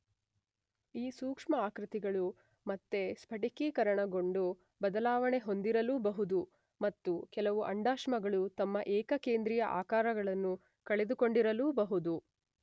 ಈ ಸೂಕ್ಷ್ಮ ಆಕೃತಿಗಳು ಮತ್ತೆ ಸ್ಫಟಿಕೀಕರಣಗೊಂಡು ಬದಲಾವಣೆ ಹೊಂದಿರಲೂಬಹುದು ಮತ್ತು ಕೆಲವು ಅಂಡಾಶ್ಮಗಳು ತಮ್ಮ ಏಕಕೇಂದ್ರೀಯ ಆಕಾರಗಳನ್ನು ಕಳೆದುಕೊಂಡಿರಲೂಬಹುದು.